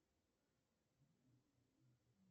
ты с кем то встречаешься